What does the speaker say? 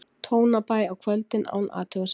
Tónabæ á kvöldin án athugasemda.